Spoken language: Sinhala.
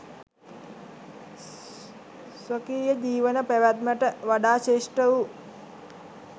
ස්වකීය ජීවන පැවැත්මට වඩා ශ්‍රේෂ්ඨ වූ